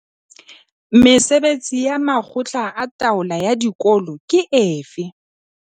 Mesebetsi ya makgotla a taolo ya dikolo ke efe?